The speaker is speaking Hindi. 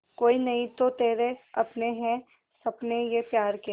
कोई नहीं तो तेरे अपने हैं सपने ये प्यार के